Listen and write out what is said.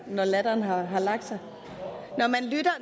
når latteren har har lagt sig